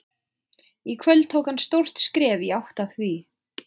Í kvöld tók hann stórt skref í átt að því.